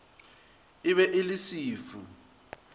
e be e le sefu